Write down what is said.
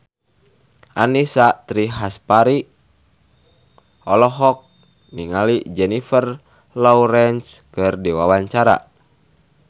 Annisa Trihapsari olohok ningali Jennifer Lawrence keur diwawancara